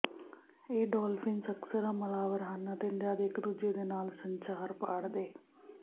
ਇਹ ਡੌਲਫਿੰਸ ਅਕਸਰ ਹਮਲਾਵਰ ਹਨ ਅਤੇ ਜਦ ਇੱਕ ਦੂਜੇ ਦੇ ਨਾਲ ਸੰਚਾਰ ਪਾੜਦੇ